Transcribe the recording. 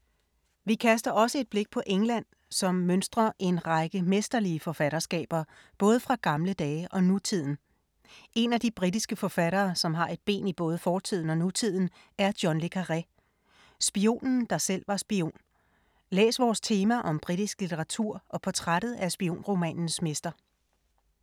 Vi kaster også et blik på England, som mønstrer en række mesterlige forfatterskaber både fra gamle dage og nutiden. En af de britiske forfattere, som har et ben i både fortiden og nutiden, er John le Carré. Spionen, der selv var spion. Læs vores tema om britisk litteratur og portrættet af spionromanens mester.